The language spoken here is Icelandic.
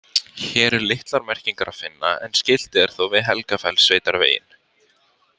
Hér er litlar merkingar að finna en skilti er þó við Helgafellssveitarveginn.